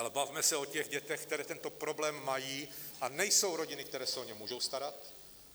Ale bavme se o těch dětech, které tento problém mají, a nejsou rodiny, které se o ně můžou starat.